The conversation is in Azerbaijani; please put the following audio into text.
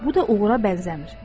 Bu da uğura bənzəmir.